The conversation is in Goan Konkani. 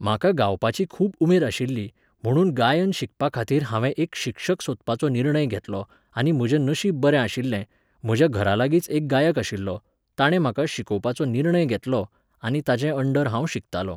म्हाका गावपाची खूब उमेद आशिल्ली, म्हुणून गायन शिकपाखातीर हांवें एक शिक्षक सोदपाचो निर्णय घेतलो आनी म्हजें नशीब बरें आशिल्लें, म्हज्या घरालागींच एक गायक आशिल्लो, ताणें म्हाका शिकोवपाचो निर्णय घेतलो, आनी ताचे अंडर हांव शिकतालो